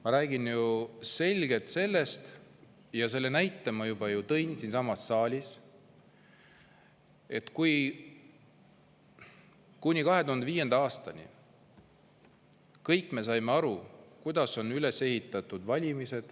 Ma räägin ju selgelt sellest – ma juba tõin selle näite siinsamas saalis –, et kuni 2005. aastani me kõik saime aru, kuidas on valimised üles ehitatud.